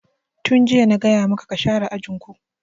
Tun jiya na gaya maka ka share ajin ku!